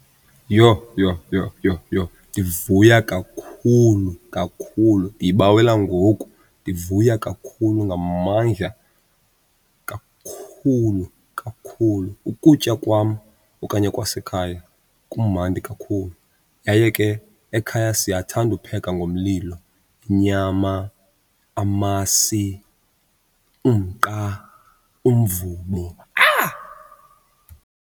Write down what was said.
Yho, yho, yho, yho, yho, ndivuya kakhulu, kakhulu! Ndiyibawela ngoku, ndivuya kakhulu ngamandla. Kakhulu, kakhulu! Ukutya kwam okanye kwasekhaya kumandi kakhulu yaye ke ekhaya siyathanda upheka ngomlilo inyama, amasi, umqa, umvubo. Ah!